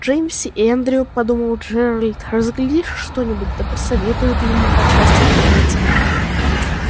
джеймс и эндрю подумал джеральд разглядишь что-нибудь да присоветуют ему по части женитьбы